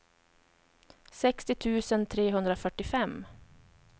sextio tusen trehundrafyrtiofem